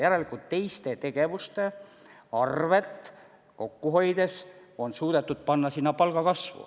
Järelikult on teiste tegevuste arvel kokku hoides suudetud palgakasvu suurendada.